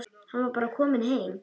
Hann var bara kominn.